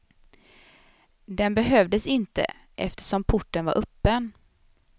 Den behövdes inte, eftersom porten var öppen.